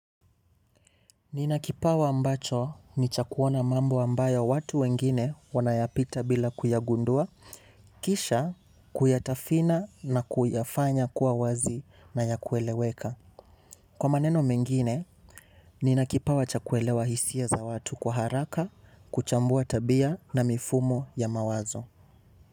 Nina kipawa ambacho ni cha kuona mambo ambayo watu wengine wanayapita bila kuyagundua, kisha kuyatafina na kuyafanya kuwa wazi na ya kueleweka. Kwa maneno mengine, nina kipawa cha kuelewa hisia za watu kwa haraka, kuchambua tabia na mifumo ya mawazo.